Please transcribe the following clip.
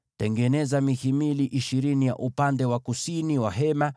Tengeneza mihimili ishirini kwa ajili ya upande wa kusini wa maskani,